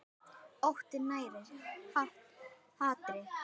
Óttinn nærir hatrið.